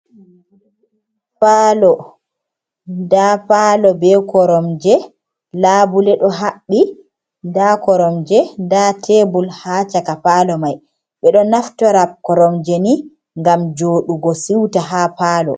Palo. Nda palo be koromje laabule ɗo haɓɓi, nda koromje, nda tebul haa caka palo mai. Ɓe ɗo naftora koromje nii ngam juoɗugo siuta ha palo.